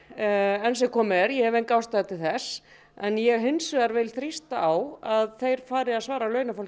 enn sem komið er ég hef enga ástæðu til þess en ég hins vegar vil þrýsta á að þeir fari að svara launafólki